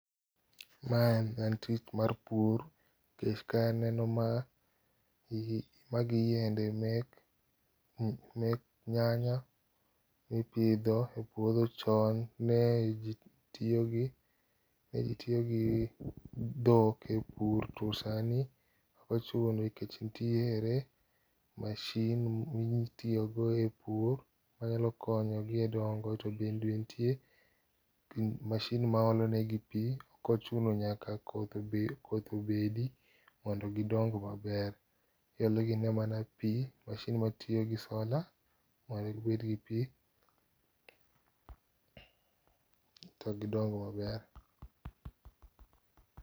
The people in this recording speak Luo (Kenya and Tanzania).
mae en tich mar pur kech kae aneno magi yiende mek nyanya ipidho e puotho chon ne jitiyo gi dhok e pur to sani ok ochuno nikech nitiere machine mitiyo go e pur manyalo konyo gi e dongo to bende nitie machine ma olo ne gi pi ok ochuna nyaka koth obedi mondo gidong' maber, iolo ne gi mana pi machine matiyo gi solar mondo gibed gi pi to gidong' maber.